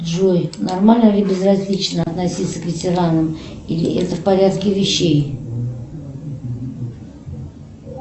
джой нормально ли безразлично относиться к ветеранам или это в порядке вещей